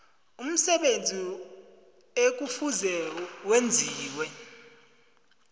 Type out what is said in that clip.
umsebenzi ekufuze wenziwe